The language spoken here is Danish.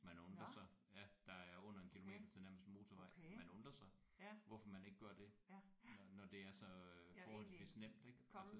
Man undrer sig. Ja. Der er under 1 kilometer til nærmeste motorvej. Man undrer sig hvorfor man ikke gør det når det er så øh forholdsvist nemt ik altså